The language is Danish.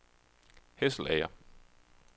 Hesselager